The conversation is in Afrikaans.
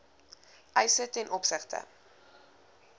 eise ten opsigte